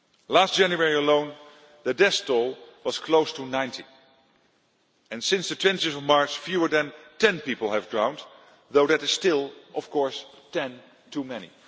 Last January alone the death toll was close to 90 and since 20 March fewer than 10 people have drowned though that is still, of course, 10 too many.